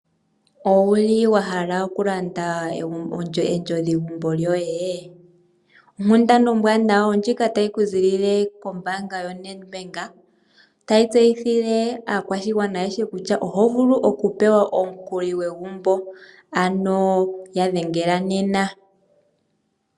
Owu li wa hala okulanda ondjodhigumbo yoye? Onkundana ombwaanawa oyo ndjika tayi ku ziilile kombaanga yoNedbank, tayi tseyithile aakwashigwana ayehe kutya oho vulu okupewa omukuli gwegumbo, ano ya dhengela nena.